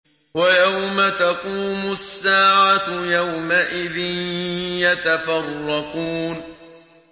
وَيَوْمَ تَقُومُ السَّاعَةُ يَوْمَئِذٍ يَتَفَرَّقُونَ